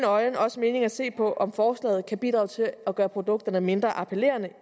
øjne også mening at se på om forslaget kan bidrage til at gøre produkterne mindre appellerende